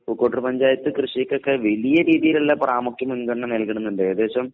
പൂക്കോട്ടൂർ പഞ്ചായത്ത് കൃഷിക്കൊക്കെ വലിയ രീതിയിലുള്ള പ്രാമുഖ്യം മുൻഗണന നൽകുന്നുണ്ട്. ഏകദേശം